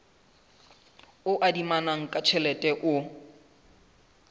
o adimanang ka tjhelete o